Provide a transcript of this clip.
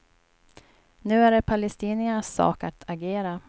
Nu är det palestiniernas sak att agera.